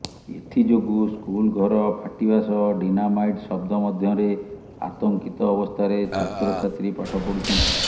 ଏଥି ଯୋଗୁ ସ୍କୁଲ ଘର ଫାଟିବା ସହ ଡିନାମାଇଟ୍ ଶବ୍ଦ ମଧ୍ୟରେ ଆତଙ୍କିତ ଅବସ୍ଥାରେ ଛାତ୍ରଛାତ୍ରୀ ପାଠ ପଢୁଛନ୍ତି